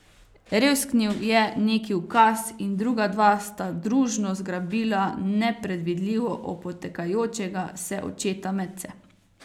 Revsknil je neki ukaz in druga dva sta družno zgrabila nepredvidljivo opotekajočega se očeta medse.